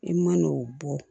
E man n'o bɔ